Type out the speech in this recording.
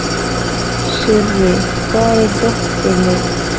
Sirrí, hvar er dótið mitt?